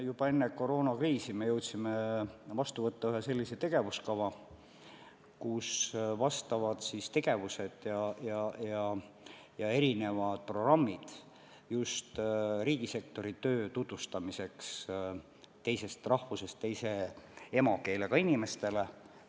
Juba enne koroonakriisi me jõudsime vastu võtta ühe sellise tegevuskava, kus on tegevused ja erinevad programmid just riigisektori töö tutvustamiseks teisest rahvusest, teise emakeelega inimestele.